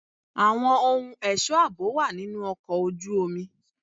Àwọn ohun ẹ̀ṣọ́ àbò wà nínú ọkọ̀ ojú omi.